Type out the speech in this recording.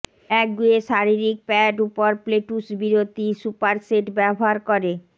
একগুঁয়ে শারীরিক প্যাড উপর প্লেটউস বিরতি সুপারসেট ব্যবহার করে